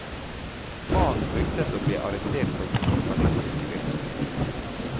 Faren fryktet å bli arrestert for sin journalistiske virksomhet.